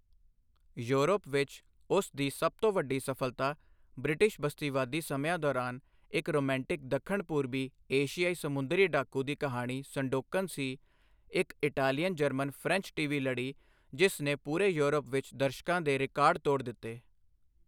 Europe ਵਿੱਚ, ਉਸ ਦੀ ਸਭ ਤੋਂ ਵੱਡੀ ਸਫਲਤਾ ਬ੍ਰਿਟਿਸ਼ ਬਸਤੀਵਾਦੀ ਸਮਿਆਂ ਦੌਰਾਨ ਇੱਕ ਰੋਮਾਂਟਿਕ ਦੱਖਣ ਪੂਰਬੀ ਏਸ਼ੀਆਈ ਸਮੁੰਦਰੀ ਡਾਕੂ ਦੀ ਕਹਾਣੀ ਸੰਡੋਕਨ ਸੀ, ਇੱਕ ਇਟਾਲੀਅਨ ਜਰਮਨ ਫ੍ਰੈਂਚ ਟੀਵੀ ਲੜੀ ਜਿਸ ਨੇ ਪੂਰੇ ਯੂਰਪ ਵਿੱਚ ਦਰਸ਼ਕਾਂ ਦੇ ਰਿਕਾਰਡ ਤੋੜ ਦਿੱਤੇ।